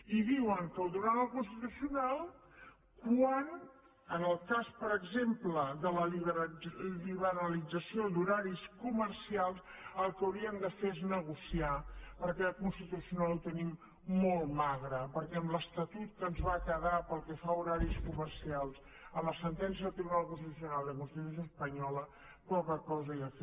i diuen que ho duran al constitucional quan en el cas per exemple de la liberalització d’horaris comercials el que hauríem de fer és negociar perquè al constitucional ho tenim molt magre perquè amb l’estatut que ens va quedar pel que fa a horaris comercials a la sentència del tribunal constitucional i a la constitució espanyola poca cosa hi ha a fer